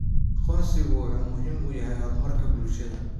Aqoonsigu wuxuu muhiim u yahay horumarka bulshada.